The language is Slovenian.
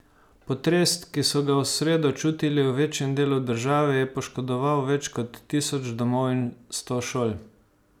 Potres, ki so ga v sredo čutili v večjem delu države, je poškodoval več kot tisoč domov in sto šol.